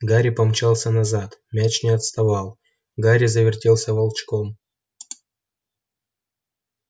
гарри помчался назад мяч не отставал гарри завертелся волчком